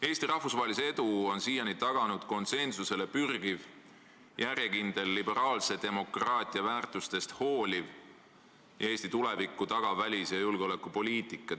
Eesti rahvusvahelise edu on siiani taganud konsensusele pürgiv, järjekindlalt liberaalse demokraatia väärtustest hooliv ja Eesti tulevikku tagav välis- ja julgeolekupoliitika.